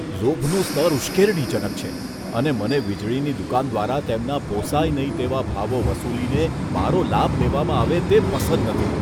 લોભનું સ્તર ઉશ્કેરણીજનક છે, અને મને વીજળીની દુકાન દ્વારા તેમના પોસાય નહીં તેવા ભાવો વસૂલીને મારો લાભ લેવામાં આવે તે પસંદ નથી.